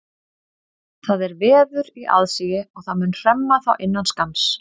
Það er veður í aðsigi og það mun hremma þá innan skamms.